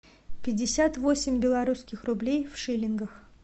пятьдесят восемь белорусских рублей в шиллингах